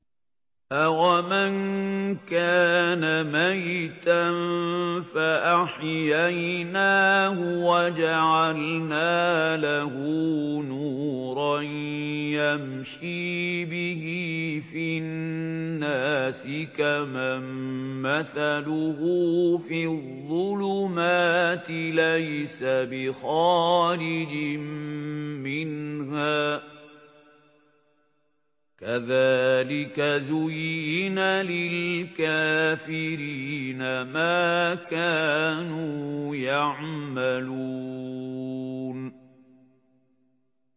أَوَمَن كَانَ مَيْتًا فَأَحْيَيْنَاهُ وَجَعَلْنَا لَهُ نُورًا يَمْشِي بِهِ فِي النَّاسِ كَمَن مَّثَلُهُ فِي الظُّلُمَاتِ لَيْسَ بِخَارِجٍ مِّنْهَا ۚ كَذَٰلِكَ زُيِّنَ لِلْكَافِرِينَ مَا كَانُوا يَعْمَلُونَ